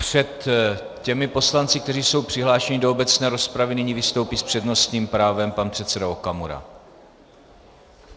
Před těmi poslanci, kteří jsou přihlášeni do obecné rozpravy, nyní vystoupí s přednostním právem pan předseda Okamura.